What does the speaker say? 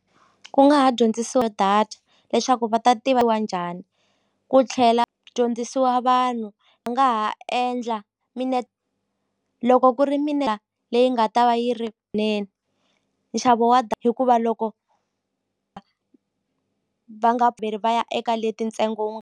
Ku nga ha dyondzisiwa hi data leswaku va ta tiviwa njhani ku tlhela dyondzisiwa vanhu a nga ha endla loko ku ri leyi nga ta va yi ri nene nxavo wa hikuva loko va nga vheli va ya eka leti ntsengo .